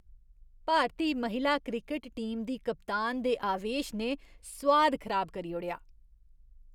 भारती महिला cricket team दी कप्तान दे आवेश ने सोआद खराब करी ओड़ेआ।